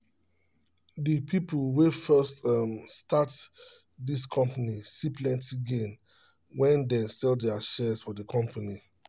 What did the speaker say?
the people wey first um start um this company see plenty gain when they sell their shares for the company